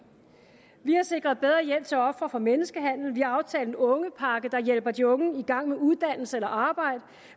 vi har sikret bedre hjælp til ofre for menneskehandel vi har aftalt en ungepakke der hjælper de unge i gang med uddannelse eller arbejde